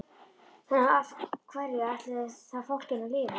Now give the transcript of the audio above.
En á hverju ætlarðu þá fólkinu að lifa?